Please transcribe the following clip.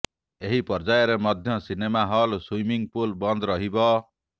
ଏହି ପର୍ଯ୍ୟାୟରେ ମଧ୍ୟ ସିନେମା ହଲ ସ୍ବିମିଂ ପୁଲ ବନ୍ଦ ରହିବ